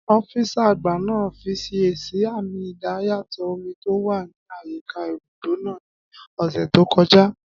Ọ́físà àgbà náà fiyèsí àmì idayàtọ̀ omi tó wà ní àyíká ibùdó náà ní ọ̀sẹ̀ tó kọjá